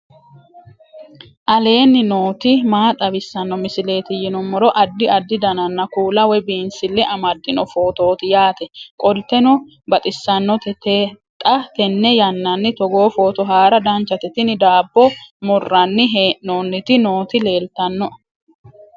aleenni nooti maa xawisanno misileeti yinummoro addi addi dananna kuula woy biinsille amaddino footooti yaate qoltenno baxissannote xa tenne yannanni togoo footo haara danchate tini daabbo murranni hee'nooniti nooti leeltannoe